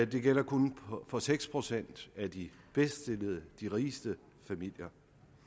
det gælder kun for seks procent af de bedst stillede de rigeste familier